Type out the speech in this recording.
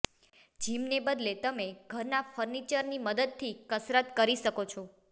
જિમને બદલે તમે ઘરના ફર્નિચરની મદદથી કસરત કરી શકો છો